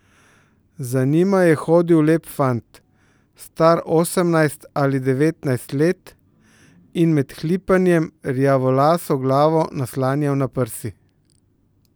Za njima je hodil lep fant, star osemnajst ali devetnajst let, in med hlipanjem rjavolaso glavo naslanjal na prsi.